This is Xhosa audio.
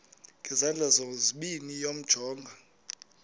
ngezandla zozibini yamjonga